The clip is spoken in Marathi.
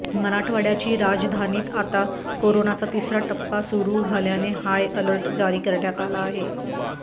मराठवाड्याची राजधानीत आता कोरोनाचा तिसरा टप्पा सुरू झाल्याने हाय अलर्ट जारी करण्यात आला आहे